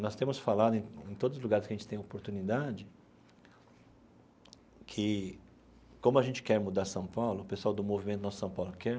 Nós temos falado em todos os lugares que a gente tem oportunidade, que como a gente quer mudar São Paulo, o pessoal do Movimento Nossa São Paulo quer,